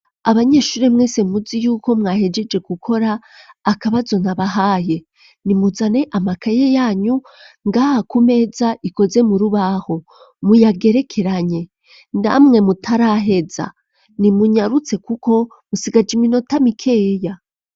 Abanyeshuri mwese, muzi y'uko mwahejeje, gukora akabazo nabahaye; nimuzane amakaye yanyu, ngaha ku meza, ikoze mu rubaho, muyagerekeranye; namwe mutaraheza, nimunyarutse, kuko musigaje, iminota mikeya.